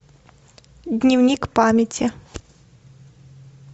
дневник памяти